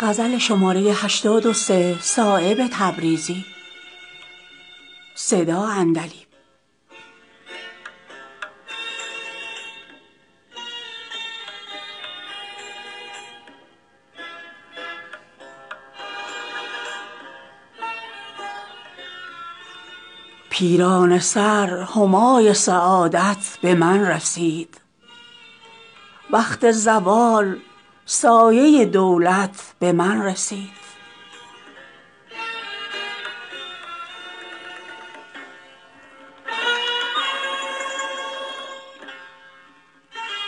پیرانه سر همای سعادت به من رسید وقت زوال سایه دولت به من رسید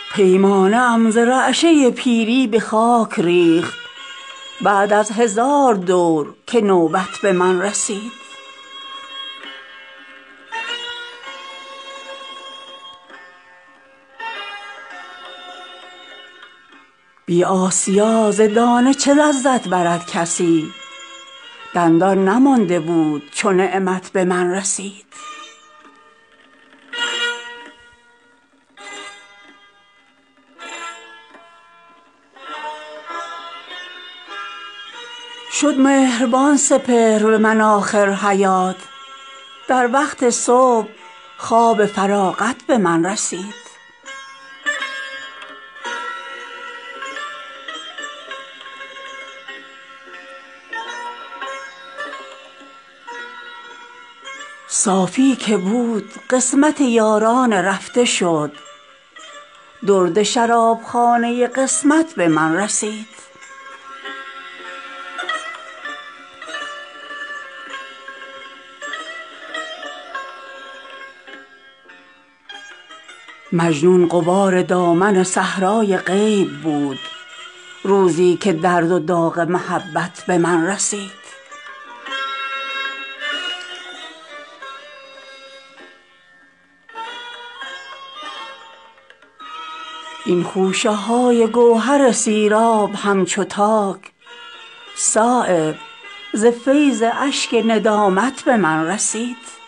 فردی نمانده بود ز مجموعه حواس در فرصتی که نوبت عشرت به من رسید پیمانه ام ز رعشه پیری به خاک ریخت بعد از هزار دور که نوبت به من رسید بی آسیا ز دانه چه لذت برد کسی دندان نمانده بود چو نعمت به من رسید شد مهربان سپهر به من آخر حیات در وقت صبح خواب فراغت به من رسید صافی که بود قسمت یاران رفته شد درد شرابخانه قسمت به من رسید شد سینه چاک همچو صدف استخوان من تا قطره ای ز ابر مروت به من رسید زان خنده ای که بر رخ من کرد روزگار پنداشتم که صبح قیامت به من رسید صیاد بی کمین به شکاری نمی رسد این فیضها ز گوشه عزلت به من رسید چون چشم یار از نفسم گرد سرمه خاست تا گوشه ای ز عالم وحشت به من رسید مجنون غبار دامن صحرای غیب بود روزی که درد وداغ محبت به من رسید از زهر سبز شد پروبالم چو طوطیان تا گرد کاروان حلاوت به من رسید هر نشأه ای که در جگرخم ذخیره داشت یک کاسه کرد عشق چونوبت به من رسید این خوشه های گوهر سیراب همچو تاک صایب ز فیض اشک ندامت به من رسید